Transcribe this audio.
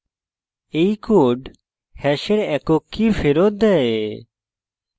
এই code hash একক key ফেরত দেয়